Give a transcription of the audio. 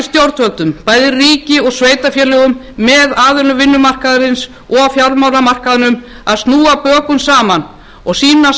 stjórnvöldum bæði ríki og sveitarfélögum með aðilum vinnumarkaðarins og fjármálamarkaðnum að snúa bökum saman og sýna